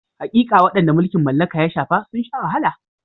Haƙiƙa, waɗanda mulkin mallaka ya shafa sun sha wahala.